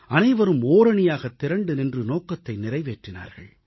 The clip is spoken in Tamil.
அனைவரும் ஓரணியாகத் திரண்டு நின்று நோக்கத்தை நிறைவேற்றினார்கள்